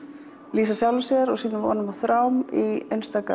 lýsa sjálfu sér vonum og þrám í